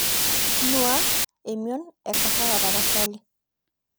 nuaa emion ekahawa tapasali